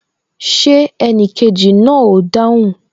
Ṣé enikeji náà o dáhùn?